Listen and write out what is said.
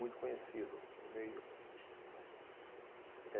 Muito conhecido no meio. Eh